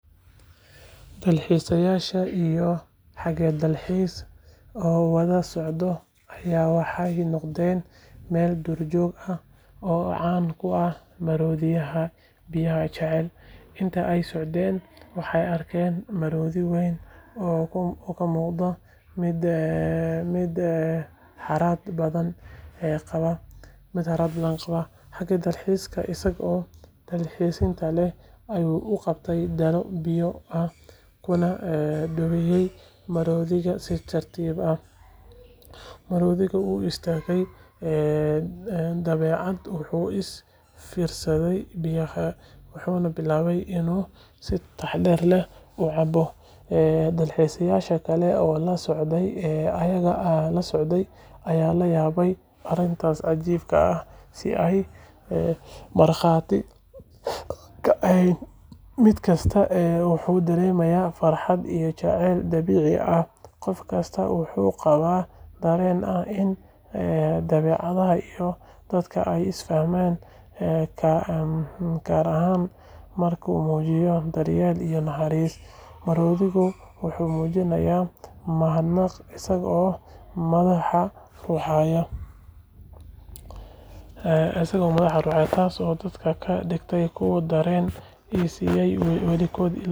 Dalxiisayaal iyo hage dalxiis oo wada socda ayaa waxay booqdeen meel duurjoog ah oo caan ku ah maroodiyada biyaha jecel. Intii ay socdeen, waxay arkeen maroodi weyn oo u muuqda mid harraad badan qaba. Hage dalxiiska, isagoo naxariis leh, ayuu qaatay dhalo biyo ah kuna dhowaaday maroodiga si tartiib ah. Maroodigii wuu istaagay, dabadeed wuu u fiirsaday biyaha, wuxuuna bilaabay inuu si taxaddar leh u cabo. Dalxiisayaashii kale oo la socday ayaa la yaabay aragtida cajiibka ah ee ay markhaati ka ahaayeen. Mid kasta wuxuu dareemay farxad iyo jacayl dabiici ah. Qof kasta wuxuu qabay dareen ah in dabeecadda iyo dadka ay is fahmi karaan marka la muujiyo daryeel iyo naxariis. Maroodigii wuxuu muujiyay mahadnaq isagoo madaxda ruxaya, taasoo dadka ka dhigtay kuwo dareema inaysan weligood ilaawi doonin maalintaas.